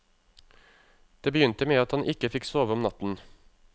Det begynte med at han ikke fikk sove om natten.